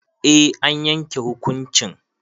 Eh an yanke hukuncin